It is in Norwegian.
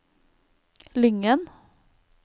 Lyngen